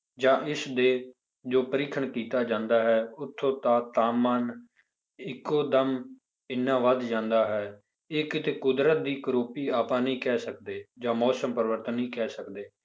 ਜਾਂ ਇਸਦੇ ਜੋ ਪਰੀਖਣ ਕੀਤਾ ਜਾਂਦਾ ਹੈ ਉੱਥੋਂ ਦਾ ਤਾਪਮਾਨ ਇੱਕੋ ਦਮ ਇੰਨਾ ਵੱਧ ਜਾਂਦਾ ਹੈ, ਇਹ ਕਿਤੇ ਕੁਦਰਤ ਦੀ ਕਰੌਪੀ ਆਪਾਂ ਨਹੀਂ ਕਹਿ ਸਕਦੇੇ ਜਾਂ ਮੌਸਮ ਪਰਿਵਰਤਨ ਨਹੀਂ ਕਹਿ ਸਕਦੇ